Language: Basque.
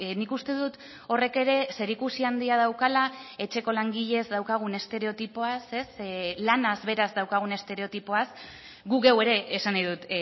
nik uste dut horrek ere zerikusi handia daukala etxeko langileez daukagun estereotipoaz lanaz beraz daukagun estereotipoaz gu geu ere esan nahi dut